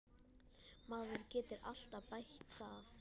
Maður getur alltaf bætt það.